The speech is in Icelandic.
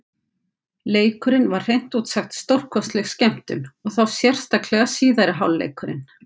Leikurinn var hreint út sagt stórkostleg skemmtun, og þá sérstaklega síðari hálfleikurinn.